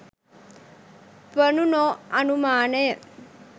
වනු නොඅනුමානය.